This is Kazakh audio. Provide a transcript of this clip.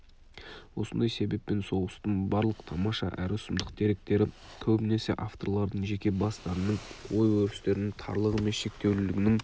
осындай себеппен соғыстың барлық тамаша әрі сұмдық деректері көбінесе авторлардың жеке бастарының ой-өрістерінің тарлығы мен шектеулілігінің